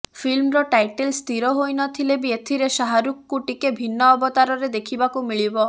ଫିଲ୍ମର ଟାଇଟଲ ସ୍ଥିର ହୋଇନଥିଲେ ବି ଏଥିରେ ଶାହରୁଖଙ୍କୁ ଟିକେ ଭିନ୍ନ ଅବତାରରେ ଦେଖିବାକୁ ମିଳିବ